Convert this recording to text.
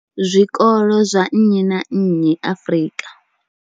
zwikolo zwa nnyi na nnyi Afrika.